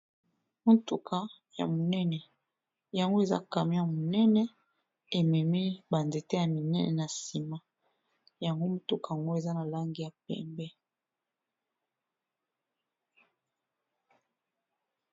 Motuka ya monene. Yango eza camion ya monene ememi ba nzete ya minene na nsima, yango motuka ngo eza na langi ya pembe.